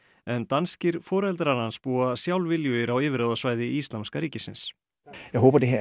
en danskir foreldrar hans búa sjálfviljugir á yfirráðasvæði Íslamska ríkisins